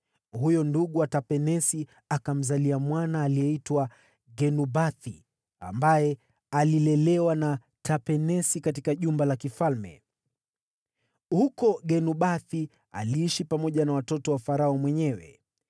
Huyo ndugu wa Tapenesi akamzalia mwana aliyeitwa Genubathi, ambaye alilelewa na Tapenesi katika jumba la kifalme. Huko Genubathi aliishi pamoja na watoto wa Farao mwenyewe.